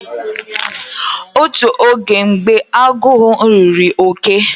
Otu oge mgbe agu agu riri oke